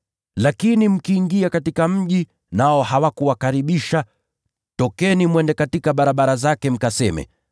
Lakini mkiingia katika mji, nao hawakuwakaribisha, tokeni mwende katika barabara zake mkaseme: